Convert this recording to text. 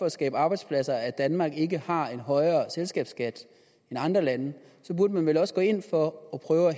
at skabe arbejdspladser at danmark ikke har en højere selskabsskat end andre lande så burde man vel også gå ind for at prøve